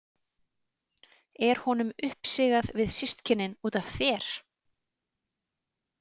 Er honum uppsigað við systkinin út af þér?